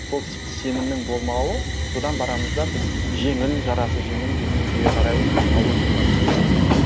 сол сенімнің болмауы содан барамыз да біз жеңіл жарасы жеңіл дүниеге қарай ойысуға тырысамыз